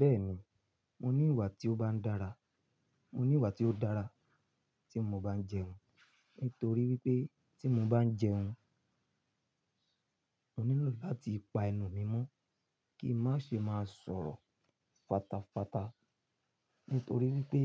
Bẹ́ẹ̀ni, mo ní ìwà tí ó bá ń dára, mo ní ìwà tí ó dára tí mo bá ń jẹun nítorí wípé tí mo bá ń jẹun, mo nílò láti pa ẹnu mi mọ́ kí n má ṣe má sọ̀rọ̀ fatafata nítorí wípé